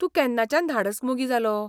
तूं केन्नाच्यान धाडस मोगी जालो?